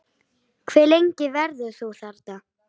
Hve lengi verður þú þarna?